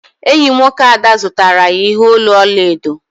Enyi nwoke Ada zụtara ya ihe olu ọla edo.